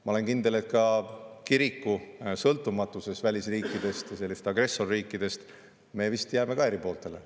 Ma olen kindel, et ka kiriku sõltumatuses välisriikidest ja agressorriikidest me jääme eri pooltele.